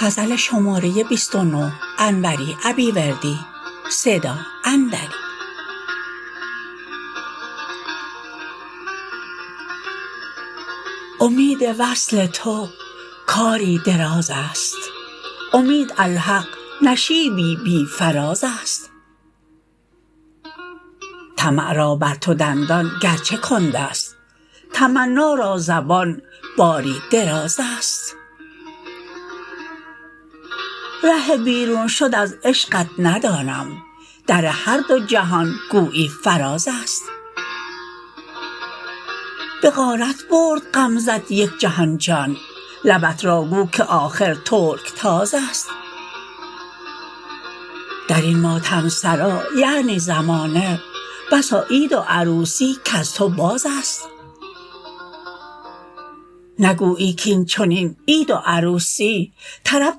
امید وصل تو کاری درازست امید الحق نشیبی بی فرازست طمع را بر تو دندان گرچه کندست تمنا را زبان باری درازست ره بیرون شد از عشقت ندانم در هر دو جهان گویی فرازست به غارت برد غمزه ت یک جهان جان لبت را گو که آخر ترکتازست در این ماتم سرا یعنی زمانه بسا عید و عروسی کز تو بازست نگویی کاین چنین عید و عروسی طرب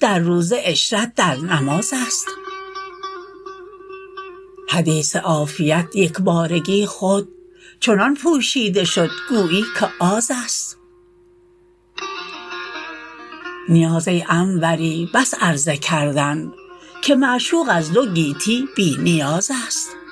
در روزه عشرت در نمازست حدیث عافیت یکبارگی خود چنان پوشیده شد گویی که آزست نیاز ای انوری بس عرضه کردن که معشوق از دو گیتی بی نیازست